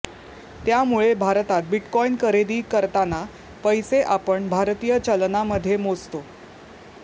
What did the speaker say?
त्यामुळे भारतात बिटकॉईन खरेदी करताना पैसे आपण भारतीय चलनामध्ये मोजतो